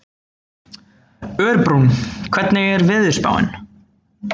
Örbrún, hvernig er veðurspáin?